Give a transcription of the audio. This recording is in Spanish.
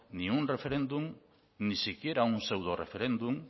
ni un referéndum ni siquiera un pseudoreferéndum